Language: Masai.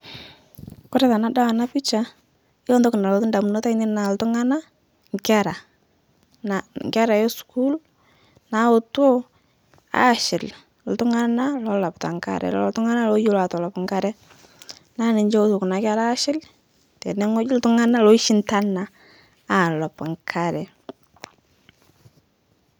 Kore tenadol ena picha naa yiolo entoki nalotu indamunt ainei naa iltung'anak, inkera inkera esukuul naaetuo aashil iltung'anak loolopita inkare lolo tung'anak looyolo aatolop ikare naa ninche eetuo kuna kera aashil tene weji iltung'anak loishindana aalop inkare.